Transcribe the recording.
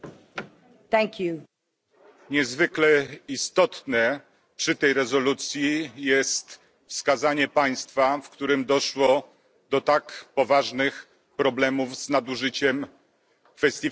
Niezwykle istotne przy tej rezolucji jest wskazanie państwa, w którym doszło do tak poważnych problemów z nadużyciem kwestii finansowych to są Niemcy.